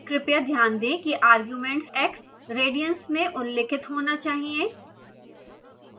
कृपया ध्यान दें कि argument x radians में उल्लिखित होना चाहिए